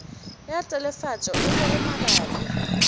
ya telefatšo e lego mabapi